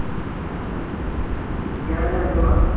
ਕਿਹੜਾ ਜੋਹਨੀ ਭਲਾਂ?